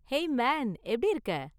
Hey man, எப்படி இருக்க?